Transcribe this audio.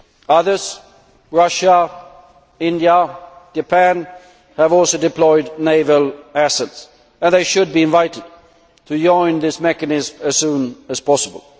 Others Russia, India and Japan have also deployed naval assets, and they should be invited to join this mechanism as soon as possible.